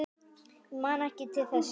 Ég man ekki til þess?